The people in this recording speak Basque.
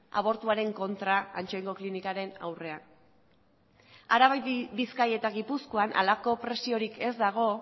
abortuaren kontra ansoaingo klinikaren aurrean araban bizkaian eta gipuzkoan halako presiorik ez dago